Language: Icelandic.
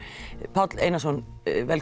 Páll Einarsson